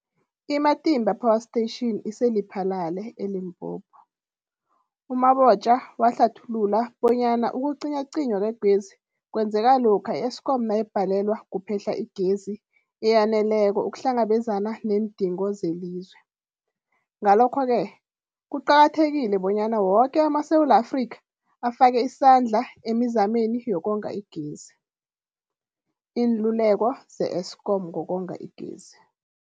I-Matimba Power Station ise-Lephalale, eLimpopo. U-Mabotja wahlathulula bonyana ukucinywacinywa kwegezi kwenzeka lokha i-Eskom nayibhalelwa kuphe-hla igezi eyaneleko ukuhlangabezana neendingo zelizwe. Ngalokho-ke kuqakathekile bonyana woke amaSewula Afrika afake isandla emizameni yokonga igezi. Iinluleko ze-Eskom ngokonga igezi.